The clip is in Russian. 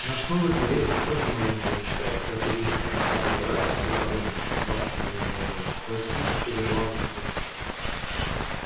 наш новый советник тоже маленько мечтает как и вискард об императорской короне бар кивнул головой мой сын передавал мне слухи